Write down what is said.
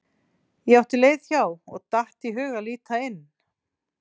Ég átti leið hjá og datt í hug að líta inn.